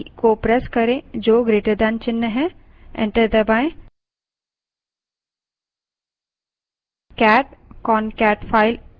enter press करें